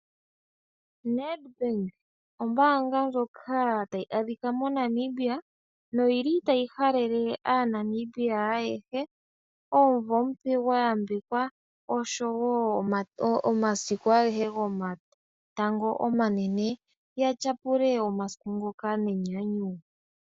NedBank ombanga ndjoka tayi adhika mo Namibia, no yili tayi halele aaNamibia ayehe omumvo omupe gwa yambekwa osho wo omasiku agehe gomatango omanene, ya tyapule omasiku ngoka nenyanyu.